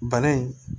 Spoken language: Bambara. Bana in